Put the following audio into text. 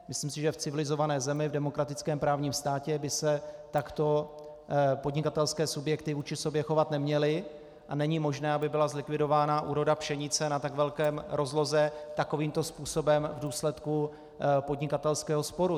Myslím si, že v civilizované zemi, v demokratickém právním státě by se takto podnikatelské subjekty vůči sobě chovat neměly a není možné, aby byla zlikvidována úroda pšenice na tak velké rozloze takovýmto způsobem v důsledku podnikatelského sporu.